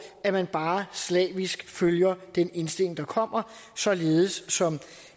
man bare slavisk følger den indstilling der kommer således som